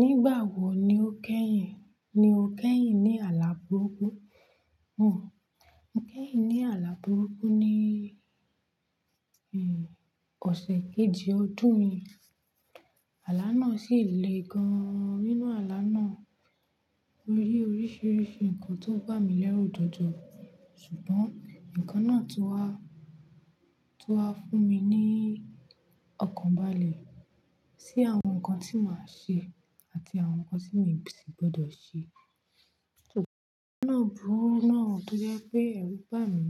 Nígbà wo ni o kẹ́yìn? Ni o kẹ́yìn ní àlá burúkú? Mú, mo kẹ́yìn ní àlá burúkú ní, ẹ́, ọ̀sẹ̀ kejì ọdún yìí. Àlá náà sì le gan-an nínú àlá náà. Mo rí oríṣiríṣi nǹkan tó ń bà mí lẹ́rù jọjọ Ṣùgbọ́n nǹkan náà ti wá, ti wá fún mi ní ọkàn balẹ̀. Sí àwọn nǹkan tí mo ṣe àti àwọn nǹkan tí mi ò sì gbọ́dọ̀ ṣe. Nǹkan náà burú náà tó jẹ́ pé ẹ̀rù bà mí.